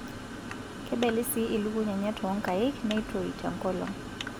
Kebeli sii ilukuny enye toonkaik neitoi te nkolong'.